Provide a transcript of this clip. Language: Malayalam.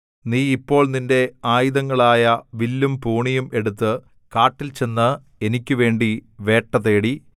നീ ഇപ്പോൾ നിന്റെ ആയുധങ്ങളായ വില്ലും പൂണിയും എടുത്തു കാട്ടിൽ ചെന്ന് എനിക്കുവേണ്ടി വേട്ടതേടി